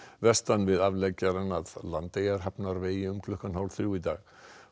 vestan við afleggjarann að um klukkan hálf þrjú í dag